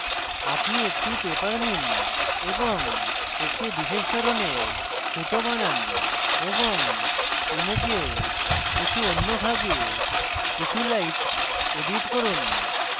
আপনি একটি paper নিন এবং একটি বিশেষ ধরনের ফুটো বানান এবং ইমেজের কিছু অন্য ভাগে কিছু light edit করুন